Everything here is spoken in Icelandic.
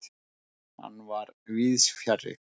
Hann var víðsfjarri.